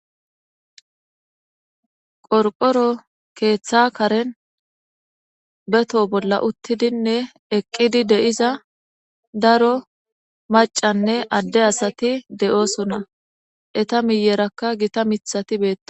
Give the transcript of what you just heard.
Qorqoro keeththa karen beto bolla uttidinne eqqidi de'iza daro macanne adde asati de'oosona eta miyerakka gita mithati beetta.